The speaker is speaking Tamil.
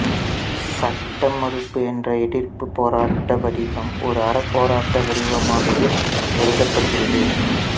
சட்ட மறுப்பு என்ற எதிர்ப்புப் போராட்ட வடிவம் ஓர் அறப்போராட்ட வடிவமாகவே கருதப்படுகிறது